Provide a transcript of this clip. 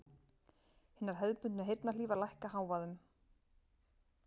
Hinar hefðbundnu heyrnarhlífar lækka hávaða um